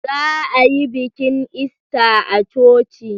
Za a yi bikin Ista a coci.